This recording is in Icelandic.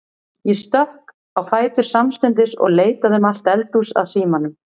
Ég stökk á fætur samstundis og leitaði um allt eldhús að símanum.